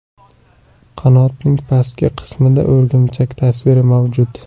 Qanotning pastki qismida o‘rgimchak tasviri mavjud.